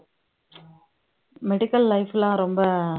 medical life லாம் ரொம்ப